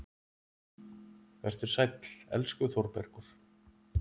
Vertu sæll, elsku Þórbergur.